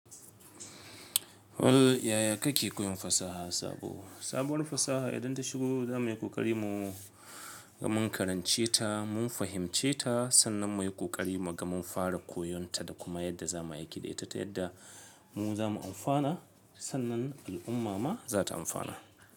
Wal yaya kake koyon fasaha sabo? Sabuwar fasaha idan ta shigo za muyi ƙoƙari mu mun karance ta mun fahimce ta sannan muyi ƙoƙari mu mun fara koyon ta da kuma yadda za mu aiki da ita ta yadda mu za mu amfana sannan al'umma ma za ta amfana.